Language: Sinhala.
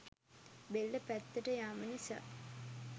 බෙල්ල පැත්තට යෑම නිසා